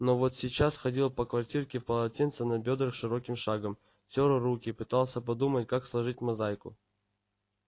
но вот сейчас ходил по квартирке в полотенце на бёдрах широким шагом тёр руки пытался подумать как сложить мозаику